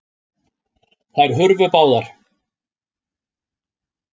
Þær hurfu báðar.